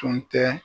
Tun tɛ